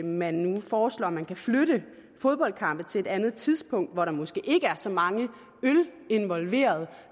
man nu foreslår at man kan flytte fodboldkampe til et andet tidspunkt hvor der måske ikke er så mange øl involveret